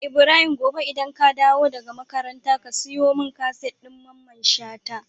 Ibrahim gobe idan ka dawo daka makaranta ka siyo mun kaset din mamman shata?